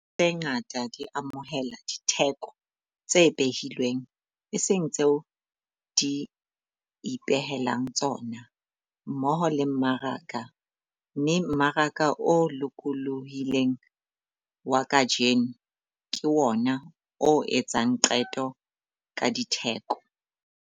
Dihwai tse ngata di amohela ditheko tse behilweng, e seng tseo di ipehelang tsona, mmoho le mmaraka, mme mmaraka o lokolohileng wa kajeno ke wona o etsang qeto ka ditheko.